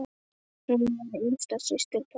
Hún var yngsta systir pabba.